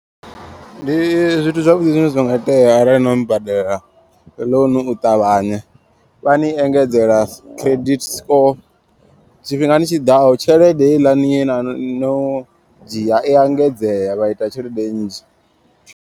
Ndi zwithu zwavhuḓi zwine zwa nga itea arali no badela ḽounu utavhanya. Vha ni engedzela credit score tshifhingani tshiḓaho tshelede heiḽani ye na no dzhia i a engedzea vha ita tshelede nnzhi.